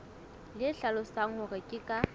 le hlalosang hore ke ka